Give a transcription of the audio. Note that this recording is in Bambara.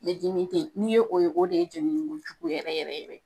Ne dimi te yen ,n'i ye o ye o de ye jenini ko jugu yɛrɛ yɛrɛ yɛrɛ